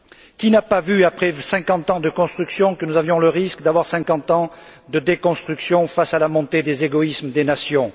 Qui n'a pas vu, après 50 ans de construction, que nous courions le risque de 50 ans de déconstruction face à la montée des égoïsmes des nations?